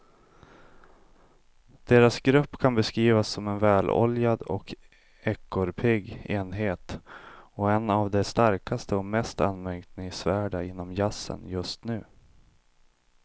Deras grupp kan beskrivas som en väloljad och ekorrpigg enhet och en av de starkaste och mest anmärkningsvärda inom jazzen just nu.